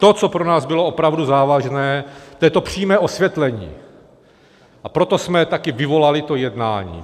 To, co pro nás bylo opravdu závažné, to je to přímé osvětlení, a proto jsme také vyvolali to jednání.